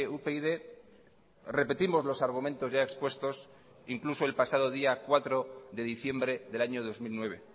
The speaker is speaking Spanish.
upyd repetimos los argumentos ya expuestos incluso el pasado día cuatro de diciembre del año dos mil nueve